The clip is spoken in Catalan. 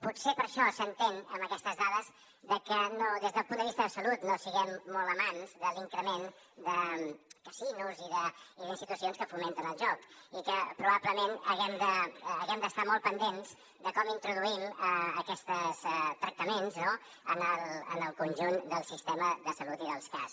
potser per això s’entén amb aquestes dades que des del punt de vista de salut no siguem molt amants de l’increment de casinos i d’institucions que fomenten el joc i que probablement haguem d’estar molt pendents de com introduïm aquests tractaments no en el conjunt del sistema de salut i dels cas